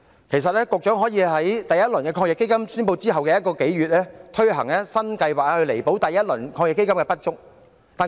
其實局長可以在第一輪防疫抗疫基金宣布一個多月後推行新計劃，以彌補第一輪基金的不足。